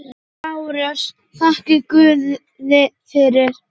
LÁRUS: Þakkið guði fyrir.